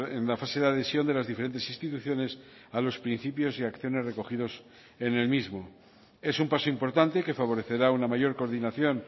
en la fase de adhesión de las diferentes instituciones a los principios y acciones recogidos en el mismo es un paso importante que favorecerá una mayor coordinación